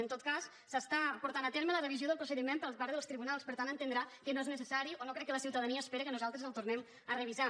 en tot cas s’està portant a terme la revisió del procediment per part dels tribunals per tant entendrà que no és necessari o no crec que la ciutadania espere que nosaltres el tornem a revisar